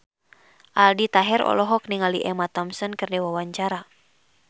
Aldi Taher olohok ningali Emma Thompson keur diwawancara